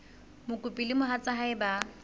mokopi le mohatsa hae ba